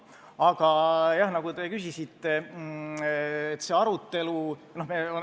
Aga jah, te küsisite arutelu kohta.